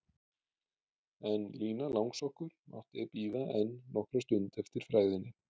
En Lína langsokkur mátti bíða enn nokkra stund eftir frægðinni.